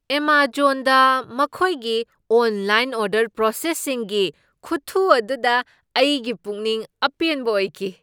ꯑꯦꯃꯖꯣꯟꯗ ꯃꯈꯣꯏꯒꯤ online order ꯄ꯭ꯔꯣꯁꯦꯁꯤꯡꯒꯤ ꯈꯨꯊꯨ ꯑꯗꯨꯗ ꯑꯩꯒꯤ ꯄꯨꯛꯅꯤꯡ ꯑꯄꯦꯟꯕ ꯑꯣꯏꯈꯤ ꯫